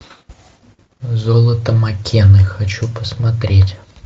золото маккены хочу посмотреть